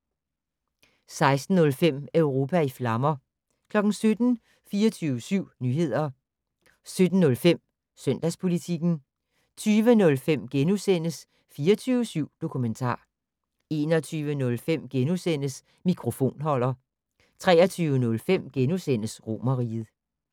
16:05: Europa i flammer 17:00: 24syv Nyheder 17:05: Søndagspolitikken 20:05: 24syv Dokumentar * 21:05: Mikrofonholder * 23:05: Romerriget *